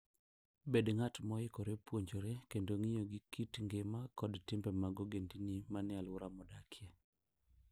Bed ng'at moikore puonjore kendo ng'iyo gi kit ngima kod timbe mag ogendini manie alwora midakie.